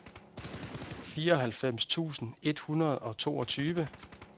fireoghalvfems tusind et hundrede og toogtyve